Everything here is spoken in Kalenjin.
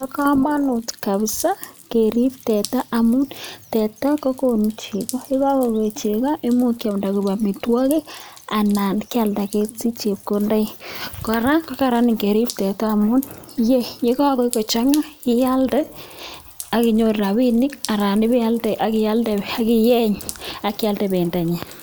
Bokomonut kabisaa kerib teta amun teta kokonu chekoo, yekoko chekoo imuch kiamnda koik amitwokik anan kialda kesiche chepkondoik, kora ko Karan ingerib teta amun iyee, yekokoi kochang'a ialde ak inyoru rabinik anan ibeialde ak ialde ak iyen ak ialde bendanyin.